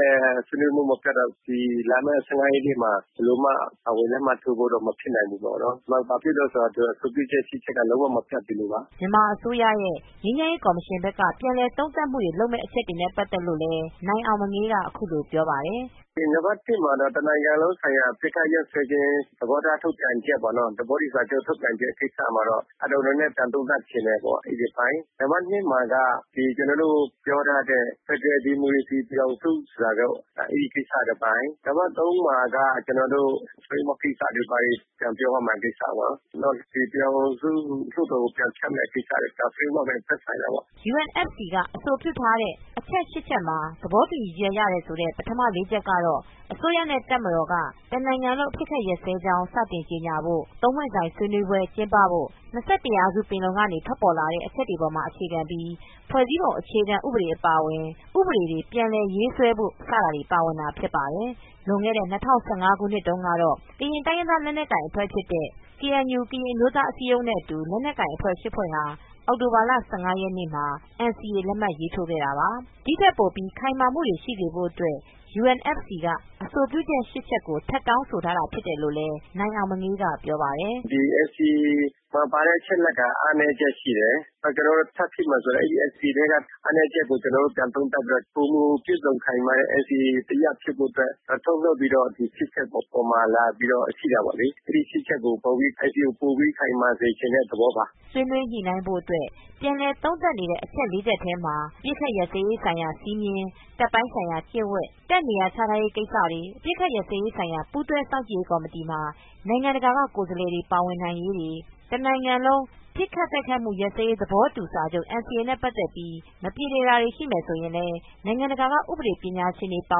လည်း ဆွေးနွေးမှုမပြတ်တော့ ဒီလာမယ့် ၁၅ ရက်နေ့မှာ ဘယ်လိုမှ ပါဝင်လက်မှတ်ထိုးဖို့ မဖြစ်နိုင်ဘူးပေါ့နော်။ ဘာဖြစ်လို့လဲဆိုတော့ အဆိုပြုချက် ၈ ချက်က လုံးဝမပြတ်သေးလို့ပါ။” မြန်မာအစိုးရရဲ့ ငြိမ်းချမ်းရေးကော်မရှင်ဘက်က ပြန်လည်သုံးသပ်မှုလုပ်မယ့် အချက်တွေနဲ့ပတ်သက်လို့ နိုင်အောင်မငေး က အခုလိုပြောပါတယ်။ “နံပါတ် ၁ မှာတော့ တနိုင်ငံလုံးဆိုင်ရာအပစ်အခတ်ရပ်စဲရေး သဘောထားထုတ်ပြန်ချက်ပေါ့နော်၊ သဘောတူစာချုပ် ထုတ်ပြန်ချက်ကိစ္စမှာတော့ နဲနဲပြန်သုံးသပ်ချင်တယ်ပေါ့ အဲဒီအပိုင်း။ နံပါတ် ၂ မှာတော့ ကျနော်တို့ ပြောထားတဲ့ ဖက်ဒရယ်ဒီမိုကရေစီပြည်ထောင်စုဆိုတာတော့ အဲဒီကိစ္စတပိုင်း၊ နံပါတ် ၃ မှာက ကျနော်တို့ Framework ကိစ္စတွေပါဘာတွေ ပြန်ပြောရမယ့် ကိစ္စပေါ့နော်။ နောက်ပြည်ထောင်စုလွှတ်တော်ကို ဖြတ်ရမယ့်ကိစ္စတွေ ဒါ- Framework နဲ့ သက်ဆိုင်တာပေါ့။” UNFC က အဆိုပြုတင်ပြထားတဲ့ အချက် ၈ ချက်မှာ သဘောတူညီချက်ရတယ်ဆိုတဲ့ ပထမ အချက် ၄ ချက်ကတော့ အစိုးရနဲ့တပ်မတော်က တနိုင်ငံလုံး အပစ်အခတ်ရပ်စဲကြောင်း စတင်ကြေညာဖို့၊ သုံးပွင့်ဆိုင်ဆွေးနွေးပွဲကျင်းပဖို့၊ ၂၁ ရာစု ပင်လုံ ကထွက်ပေါ်လာတဲ့အချက်ပေါ် အခြေခံပြီး ဖွဲ့စည်းပုံအခြေခံဥပဒေ အပါအဝင် ဥပဒေတွေရေးဆွဲပြဋ္ဌာန်းဖို့ ဆိုတာတွေပါဝင်တာဖြစ်ပါတယ်။ လွန်ခဲ့တဲ့ ၂၀၁၅ ခုနှစ် ကတော့ ကရင်တိုင်းရင်းသားလက်နက်ကိုင်အဖဲ့ွ ဖြစ်တဲ့ KNU ကရင်အမျိုးသားအစည်းအရုံးနဲ့အတူ လက်နက်ကိုင်အဖွဲ့၈ ဖွဲ့ ဟာ အောက်တိုဘာလ ၁၅ရက်နေ့မှာ NCA လက်မှတ်ရေးထိုးထားခဲ့တာပါ။ ဒီထက်ပိုပြီး ခိုင်မာမှုတွေရှိစေဖို့အတွက် UNFC က အဆိုပြုချက် ၈ ချက် ကို ထပ်တောင်းဆိုထားတာဖြစ်တယ်လို့လည်း နိုင်အောင်မငေး က ပြောပါတယ်။ “ဒီ NCA မှာ ပါတဲ့အချက်အလက်က အားနည်းချက်ရှိတယ်။ နောက် ကျနော်တို့ထပ်ဖြည့်မယ်ဆိုတဲ့ အဲဒီ NCA ထဲက အားနည်းချက်ကို ကျနော်တို့ ပြန်သုံးသပ်ပြီးတော့ ပိုမိုပြည့်စုံခိုင်မာတဲ့ NCA တရပ်ဖြစ်ဖို့အတွက် ထုတ်နှုတ်ပြီးတော့ ဒီ ၈ ချက်အပေါ်မှာ လာပြီးတော့ ကြည့်တာပေါ့လေ။ အဲဒီ ၈ ချက်ကိုပိုပြီး NCA ကိုပိုပြီး ခိုင်မာစေချင်တဲ့သဘောပါ။” ဆွေးနွေးညှိနှိုင်းဖို့အတွက် ပြန်လည်သုံးသပ်နေတဲ့အချက် ၄ ချက်ထဲမှာ အပစ်အခတ်ရပ်စဲရေးဆိုင်ရာ စည်းမျဉ်း၊ တပ်ပိုင်းဆိုင်ရာ ကျင့်ဝတ်၊ တပ်နေရာ ချထားရေးကိစ္စတွေ၊ အပစ်အခတ်ရပ်စဲရေးဆိုင်ရာ ပူးတွဲစောင့်ကြည့်ရေးကော်မတီမှာ နိုင်ငံတကာကကိုယ်စားလှယ်တွေပါဝင်ရေးတွေ၊ တနိုင်ငံလုံး ပစ်ခတ် တိုက်ခိုက်မှုရပ်စဲရေးသဘောတူစာချုပ် NCA နဲ့ပတ်သက်ပြီး မပြေလည်တာတွေရှိလာရင် နိုင်ငံတကာက ဥပဒေ ပညာရှင်တွေပါ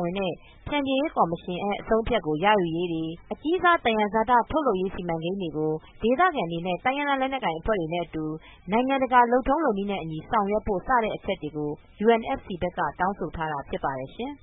ဝင်တဲ့ ဖြန်ဖြေရေးကော်မရှင် အဆုံးအဖြတ်ကိုရယူရေးတွေ၊ အကြီးစားသံယံဇာတ ထုတ်လုပ်မှုစီမံကိန်းတွေကို ဒေသခံတွေအပါအဝင် တိုင်းရင်းသားအဖွဲ့တွေနဲ့အတူ နိုင်ငံတကာ လုပ်ထုံးလုပ်နည်းနဲ့အညီ ဆောင်ရွက်ဖို့ စတဲ့အချက်တွေကို UNFC က တောင်းဆိုထားတာဖြစ်ပါတယ်ရှင်။